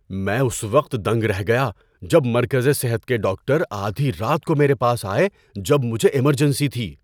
‏میں اس وقت دنگ رہ گیا جب مرکزِ صحت کے ڈاکٹر آدھی رات کو میرے پاس آئے جب مجھے ایمرجنسی تھی۔